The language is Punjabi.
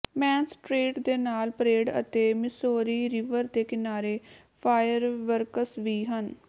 ਮੇਨ ਸਟਰੀਟ ਦੇ ਨਾਲ ਪਰੇਡ ਅਤੇ ਮਿਸੌਰੀ ਰਿਵਰ ਦੇ ਕਿਨਾਰੇ ਫਾਇਰ ਵਰਕਸ ਵੀ ਹਨ